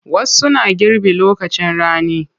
Wasu na girbi lokacin rani.